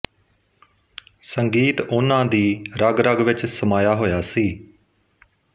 ਸੰਗੀਤ ਉਨ੍ਹਾਂ ਦੀ ਰਗਰਗ ਵਿੱਚ ਸਮਾਇਆ ਹੋਇਆ ਸੀ